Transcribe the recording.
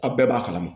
Aw bɛɛ b'a kalama